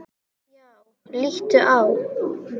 Já, líttu á.